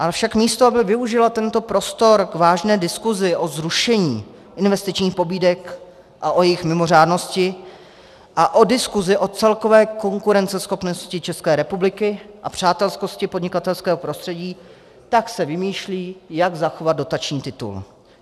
Ale však místo aby využila tento prostor k vážné diskusi o zrušení investičních pobídek a o jejich mimořádnosti a o diskusi o celkové konkurenceschopnosti České republiky a přátelskosti podnikatelského prostředí, tak se vymýšlí, jak zachovat dotační titul.